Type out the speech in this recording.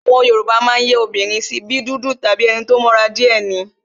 Àwọn Yoruba máa ń yẹ́ àwọn obìnrin sí, bí dúdú, enito mọ́ra díè ni,